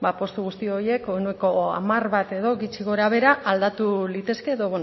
postu guzti horiek ehuneko hamar bat edo gutxi gorabehera aldatu litezke edo